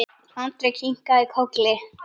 Andri kinkaði kolli.